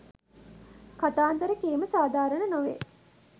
කතාන්දර කීම සාධාරණ නොවේ.